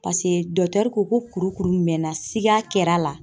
Paseke ko ko kuru kuru mɛnna siga kɛla la.